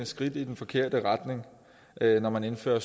skridt i den forkerte retning når man indfører